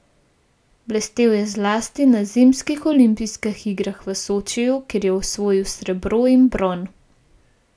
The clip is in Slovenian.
Blestel je zlasti na zimskih olimpijskih igrah v Sočiju, kjer je osvojil srebro in bron.